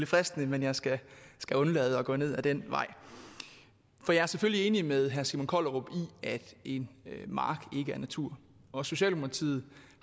fristende men jeg skal skal undlade at gå ned ad den vej jeg er selvfølgelig enig med herre simon kollerup i at en mark ikke er natur og socialdemokratiet